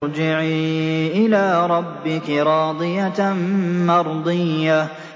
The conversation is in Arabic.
ارْجِعِي إِلَىٰ رَبِّكِ رَاضِيَةً مَّرْضِيَّةً